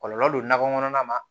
Kɔlɔlɔ don nakɔ kɔnɔna ma